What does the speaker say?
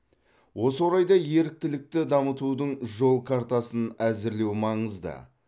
осы орайда еріктілікті дамытудың жол картасын әзірлеу маңызды